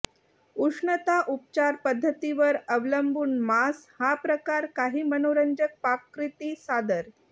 उष्णता उपचार पद्धतीवर अवलंबून मांस हा प्रकार काही मनोरंजक पाककृती सादर